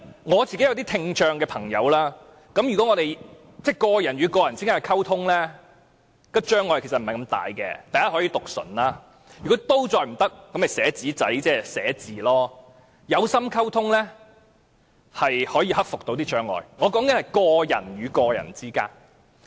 我也有些聽障朋友，如果只是個人與個人之間的溝通，障礙並不是很大，第一，可以讀唇，如果仍然有問題，也可以寫字條，有心溝通，障礙是可以克服的，我說的是個人與個人之間。